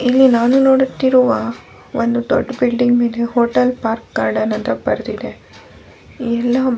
ಇಲ್ಲಿ ನಾನು ನೋಡುತ್ತಿರುವ ಒಂದು ದೊಡ್ಡ್ ಬಿಲ್ಡಿಂಗ್ ಮೇಲೆ ಹೋಟೆಲ್ ಪಾರ್ಕ್ ಗಾರ್ಡನ್ ಅಂತ ಬರೆದಿದ್ದಾರೆ